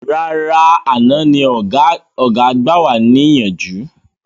Rárá àná ni ọ̀gá gbà wà ní ìyànjú